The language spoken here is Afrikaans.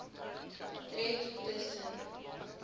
tref tus sen